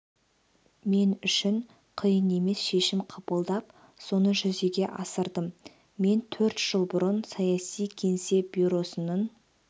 мен үшін қиын емес шешім қабылдап соны жүзеге асырдым мен төрт жыл бұрын саяси кеңес бюросының